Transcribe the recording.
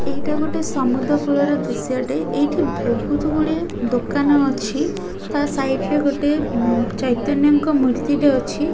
ଏଇଟା ଗୋଟେ ସମୁଦ୍ର କୂଳ ର ଦୃଶ୍ୟ ଟେ ଏଇଠି ବହୁତ ଗୁଡ଼ିଏ ଦୋକାନ ଅଛି ତା ସାଇଡ ରେ ଗୋଟିଏ ମ ଚୈତନ୍ୟ ଙ୍କ ମୂର୍ତ୍ତି ଟେ ଅଛି।